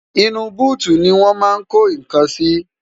inú búùtù ni wọ́n máa ń ko nǹkan sí